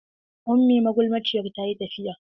Ummi magulmaciyar ta yi tafiya.